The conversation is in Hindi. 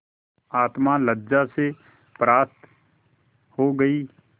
आत्मा लज्जा से परास्त हो गयी